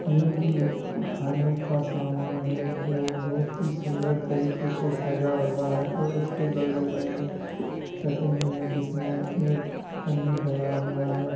ये भी एक खाने का सामान है जो बहुत ही सुंदर तरिक से सजा हुआ है। ओर उसके बगल मैं एक चटनी है उसमें एक पनीर डा हुआ है।